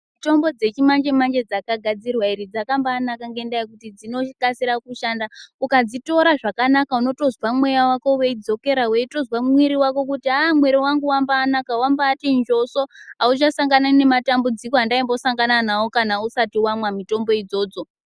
Mutombo dzechimanje manje dzakagairwa dzakambanaka ngekuti dzinokasira kushanda. Ukadzitora zvakanaka unotozwa mweya wako weidzokera weitozwa mwiri wako kuti mwiri wangu wambanaka, wambati njoso, awuchasangani nematambudziko andambosangana nawo kana usati wamwa mitombo idzodzo.